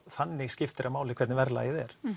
þannig skiptir það máli hvernig verðlagið er